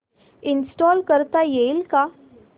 install करता येईल का